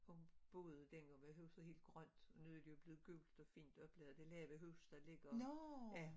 Hun boede dengang var huset helt grønt nu det jo blevet gult og fint og blevet det lave hus der ligger